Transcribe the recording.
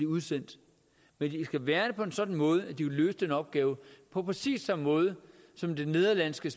udsendt men de skal være det på en sådan måde at de vil løse den opgave på præcis samme måde som det nederlandske